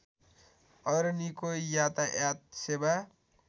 अरनिको यातायात सेवा